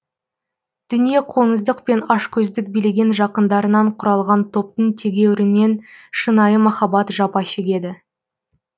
дүниеқоңыздық пен ашкөздік билеген жақындарынан құралған топтың тегеурінен шынайы махаббат жапа шегеді